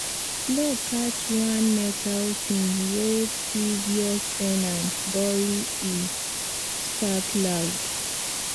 plow catch one metal thing wey previous ten ant bury e spark loud